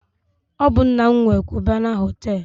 Ọ bụ nna m nwe Kubana họtelụ